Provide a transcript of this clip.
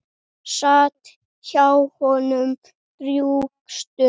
Sat hjá honum drjúga stund.